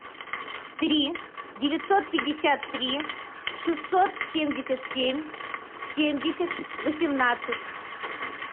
три девятьсот пятьдесят три шестьсот семьдесят семь семьдесят восемнадцать